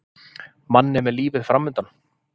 Manni með lífið framundan.